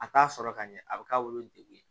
A t'a sɔrɔ ka ɲɛ a bɛ k'a bolo degun ye